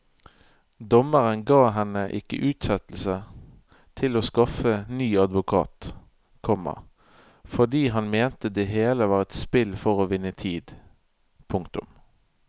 Dommeren ga henne ikke utsettelse til å skaffe ny advokat, komma fordi han mente det hele var et spill for å vinne tid. punktum